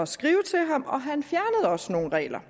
skrive til ham og han fjernede også nogle regler